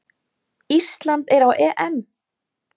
Ísland er á EM!